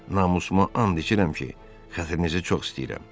Namusuma and içirəm ki, xətrinizi çox istəyirəm.